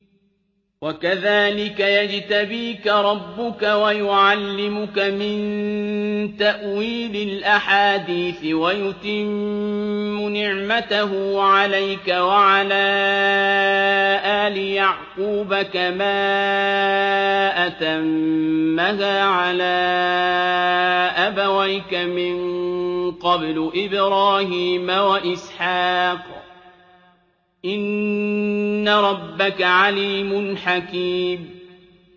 وَكَذَٰلِكَ يَجْتَبِيكَ رَبُّكَ وَيُعَلِّمُكَ مِن تَأْوِيلِ الْأَحَادِيثِ وَيُتِمُّ نِعْمَتَهُ عَلَيْكَ وَعَلَىٰ آلِ يَعْقُوبَ كَمَا أَتَمَّهَا عَلَىٰ أَبَوَيْكَ مِن قَبْلُ إِبْرَاهِيمَ وَإِسْحَاقَ ۚ إِنَّ رَبَّكَ عَلِيمٌ حَكِيمٌ